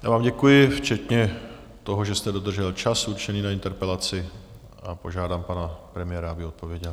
Já vám děkuji včetně toho, že jste dodržel čas určený na interpelaci, a požádám pana premiéra, aby odpověděl.